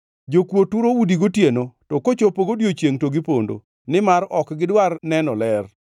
Jokuo turo udi gotieno, to kochopo odiechiengʼ to gipondo; nimar ok gidwar neno ler.